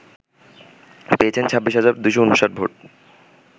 পেয়েছেন ২৬ হাজার ২৫৯ ভোট